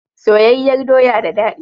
Soyayyar doya da dadi.